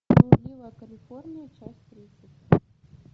блудливая калифорния часть тридцать